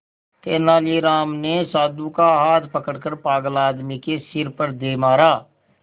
तेनालीराम ने साधु का हाथ पकड़कर पागल आदमी के सिर पर दे मारा